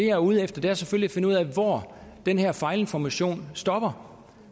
er ude efter er selvfølgelig at finde ud af hvor den her fejlinformation stopper